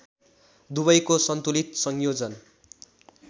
दुवैको सन्तुलित संयोजन